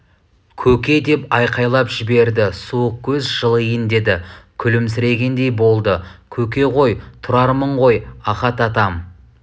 көке деп айқайлап жіберді суық көз жылиын деді күлімсірегендей болды көке ғой тұрармын ғой ахат атам